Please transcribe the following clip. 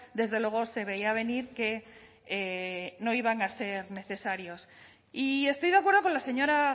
desde luego se veía venir que no iban a ser necesarios y estoy de acuerdo con la señora